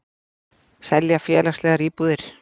Selja félagslegar íbúðir